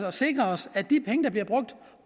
at sikre os at de penge der bliver brugt